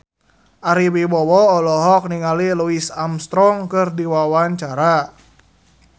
Ari Wibowo olohok ningali Louis Armstrong keur diwawancara